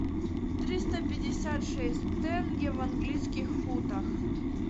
триста пятьдесят шесть тенге в английских фунтах